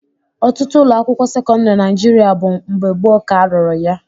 Ọtụtụ ụlọakwụkwọ sekọndịrị na Naịjirịa bụ mgbe gboo ka a rụrụ ya